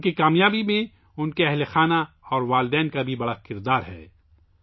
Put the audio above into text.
ان کی کامیابی میں ان کے خاندان اور ان کے والدین کا بھی بڑا کردار ہے